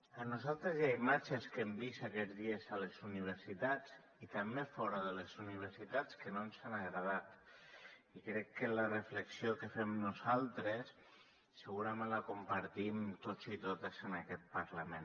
a nosaltres hi ha imatges que hem vist aquests dies a les universitats i també fora de les universitats que no ens han agradat i crec que la reflexió que fem nosaltres segurament la compartim tots i totes en aquest parlament